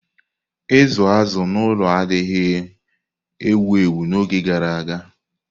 Ịzụ azụ̀ n'ụlọ adịghị ewu ewu n'oge gara aga.